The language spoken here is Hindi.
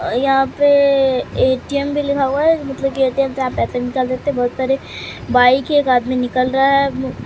यहां पे ए_टी_एम भी लिखा हुआ है मतलब कि ए_टी_एम से आप पैसे भी निकल सकते हैं बहोत सारे बाइक है एक आदमी निकल रहा है।